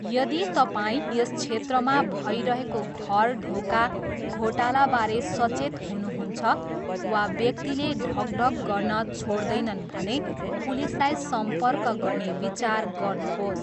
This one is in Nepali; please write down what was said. यदि तपाईँ यस क्षेत्रमा भइरहेको घर ढोका घोटालाबारे सचेत हुनुहुन्छ वा व्यक्तिले ढकढक गर्न छोड्दैनन् भने पुलिसलाई सम्पर्क गर्ने विचार गर्नुहोस्।